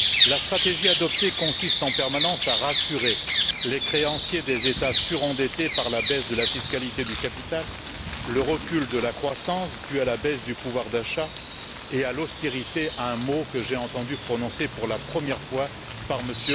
La stratégie adoptée consiste en permanence à rassurer les créanciers des États surendettés en raison de la baisse de la fiscalité du capital et du recul de la croissance dû à la baisse du pouvoir d'achat et à l'austérité un mot que j'ai entendu prononcer pour la première fois par M.